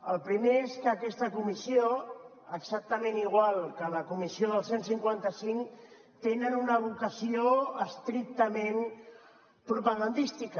el primer és que aquesta comissió exactament igual que la comissió del cent i cinquanta cinc tenen una vocació estrictament propagandística